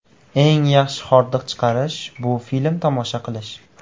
Eng yaxshi hordiq chiqarish – bu film tomosha qilish.